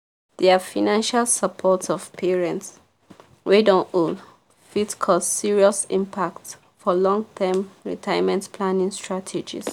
their financial support of parents wey don old fit cause serious impact for long-term retirement planning strategies.